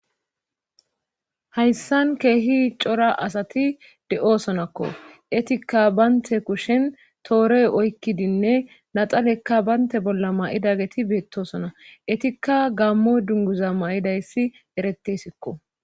hayssan keehi cora asati de7osonakko etikka baynte kushen toorey oykkidinne naxalekka baynte bolla ma7idageti beettosona etikka gammo dunguza ma7idayssi erettesikko